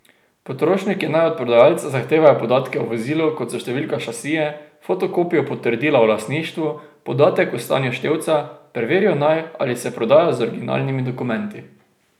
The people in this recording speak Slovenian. Potrošniki naj od prodajalca zahtevajo podatke o vozilu, kot so številka šasije, fotokopijo potrdila o lastništvu, podatek o stanju števca, preverijo naj, ali se prodaja z originalnimi dokumenti.